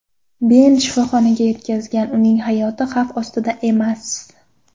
Ben shifoxonaga yetkazilgan, uning hayoti xavf ostida emas.